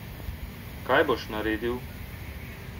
Kaj boš naredil?